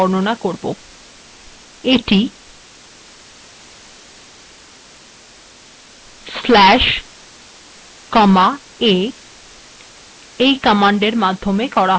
এটি slash comma a এর মাধ্যমে করা হয়